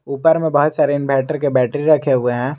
ऊपर में बहुत सारे इनवर्टर के बैटरी रखे हुए हैं।